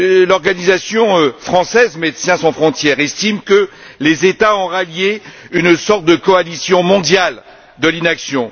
L'organisation française Médecins sans frontières estime que les États ont rallié une sorte de coalition mondiale de l'inaction.